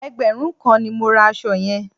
Ẹgbẹ̀rún kan ni mo ra aṣọ yẹn.